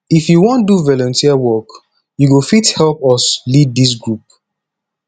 if you wan do volunteer work you go fit help us lead dis group